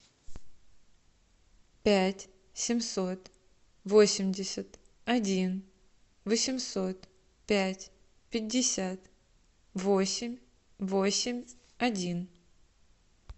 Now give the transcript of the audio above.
пять семьсот восемьдесят один восемьсот пять пятьдесят восемь восемь один